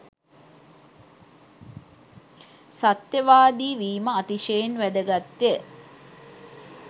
සත්‍යවාදී වීම, අතිශයින් වැදගත්ය.